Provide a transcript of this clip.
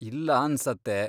ಇಲ್ಲ ಅನ್ಸತ್ತೆ.